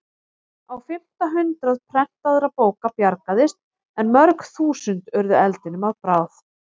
Á fimmta hundrað prentaðra bóka bjargaðist en mörg þúsund urðu eldinum að bráð.